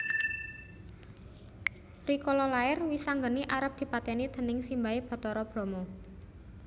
Rikala lair Wisanggeni arep dipatèni déning simbahé Bathara Brama